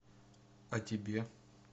а тебе